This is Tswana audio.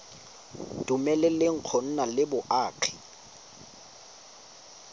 dumeleleng go nna le boagi